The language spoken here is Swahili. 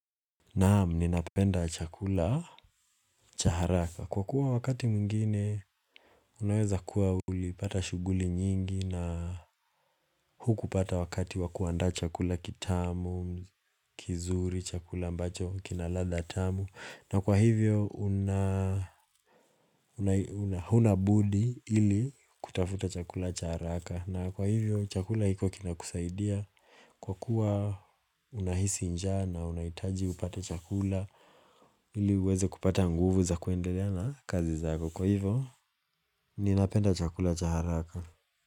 Naamu ninapenda chakula chaharaka kwa kuwa wakati mwingine unaweza kuwa ulipata shuguli nyingi na huku pata wakati wakuanda chakula kitamu kizuri chakula mbacho kinaladha tamu na kwa hivyo unaa hunabudi ili kutafuta chakula chaharaka na kwa hivyo chakula hiko kinakusaidia kwa kuwa unahisi njaa na unaitaji upata chakula Hili uweze kupata nguvu za kuendelea na kazi zako. Kwa hivo, ninapenda chakula cha haraka.